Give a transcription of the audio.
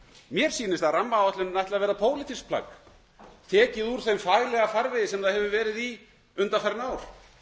mér sýnist að rammaáætlunin ætli að verða pólitískt plagg tekið úr þeim faglega farvegi sem það hefur verið í undanfarin ár